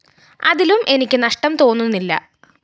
അതിലും എനിക്ക് നഷ്ടം തോന്നുന്നില്ല